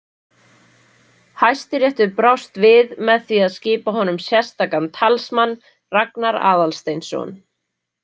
Hæstiréttur brást við með því að skipa honum sérstakan talsmann, Ragnar Aðalsteinsson.